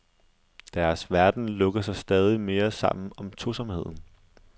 Deres verden lukker sig stadig mere sammen om tosomheden.